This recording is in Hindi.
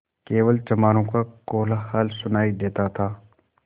केवल चमारों का कोलाहल सुनायी देता था